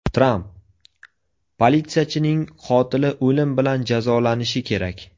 Tramp: Politsiyachining qotili o‘lim bilan jazolanishi kerak.